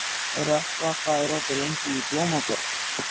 Rökkva, hvað er opið lengi í Blómaborg?